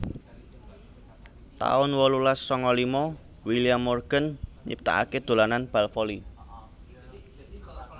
taun wolulas sanga lima William Morgan nyiptakaké dolanan bal voli